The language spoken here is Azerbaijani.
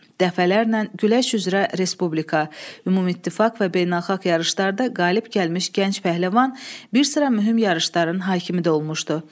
Dəfələrlə güləş üzrə Respublika, Ümumittifaq və beynəlxalq yarışlarda qalib gəlmiş gənc pəhləvan bir sıra mühüm yarışların hakimi də olmuşdu.